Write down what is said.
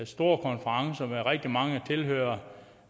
store konferencer med rigtig mange tilhørere